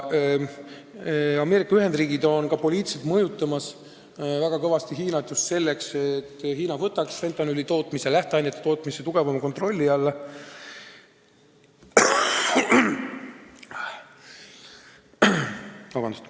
Ameerika Ühendriigid on ka poliitiliselt väga kõvasti Hiinat mõjutamas just selleks, et Hiina võtaks fentanüüli ja selle lähteainete tootmise tugevama kontrolli alla.